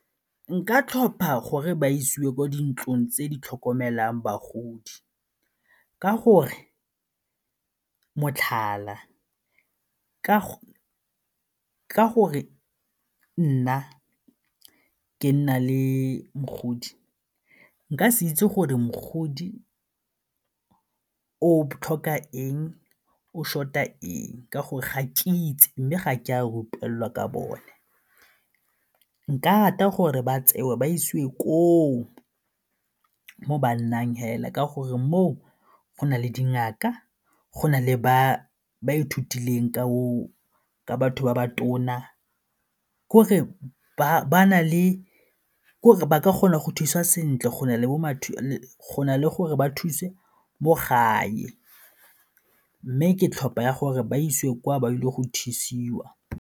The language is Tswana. Nka tlhopha gore ba isiwe kwa dintlong tse di tlhokomelang bagodi ka gore motlhala ka gore nna ke nna le mogodi, nka se itse gore mogodi o tlhoka eng, o short-a eng ka gore ga ke itse mme ga ke a rutelelwa ka bone. Nka rata gore ba tsewa ba isiwe koo mo ba nnang fela ka gore moo go na le dingaka, go na le ba ithutileng ka batho ba ba tona, k'ore ba ka kgona go thusa sentle go na le gore ba thuse mo gae mme ke tlhopha ya gore ba isiwe kwa ba ile go thusiwa.